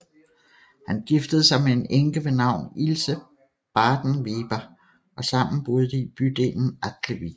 Han giftede sig med en enke ved navn Ilse Bardenwerper og sammen boede de i bydelen Altewiek